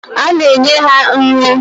Ana enye ha nri.